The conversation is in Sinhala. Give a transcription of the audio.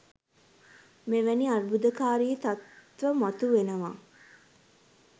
මෙවැනි අර්බුදකාරී තත්ත්ව මතු වෙනවා.